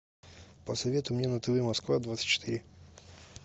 посоветуй мне на тв москва двадцать четыре